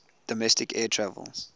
domestic air travel